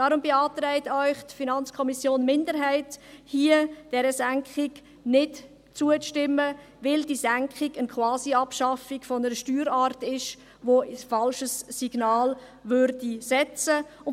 Deshalb beantragt Ihnen die FiKo-Minderheit, dieser Senkung nicht zuzustimmen, weil die Senkung eine Quasiabschaffung einer Steuerart ist und damit ein falsches Signal aussenden würde.